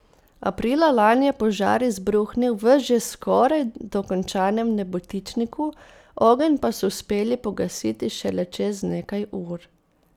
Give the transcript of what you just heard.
Aprila lani je požar izbruhnil v že skoraj dokončanem nebotičniku, ogenj pa so uspeli pogasiti šele čez nekaj ur.